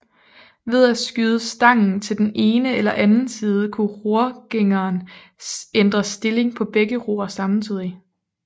Ved at skyde stangen til den ene eller anden side kunne rorgængeren ændre stillingen på begge ror samtidig